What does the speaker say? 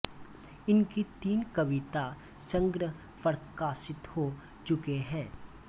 इनकी तीन कविता संग्रह प्रकाशित हो चुके हैं